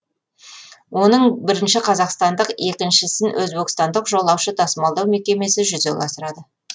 оның бірінші қазақстандық екіншісін өзбекстандық жолаушы тасымалдау мекемесі жүзеге асырады